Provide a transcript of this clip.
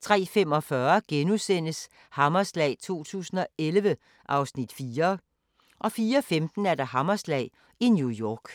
03:45: Hammerslag 2011 (Afs. 4)* 04:15: Hammerslag i New York